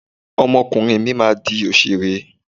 Ọmọ ọkùnrin mi máa di òṣèré.